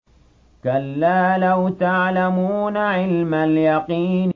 كَلَّا لَوْ تَعْلَمُونَ عِلْمَ الْيَقِينِ